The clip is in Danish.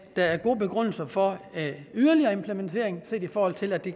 der er gode begrundelser for yderligere implementering set i forhold til at det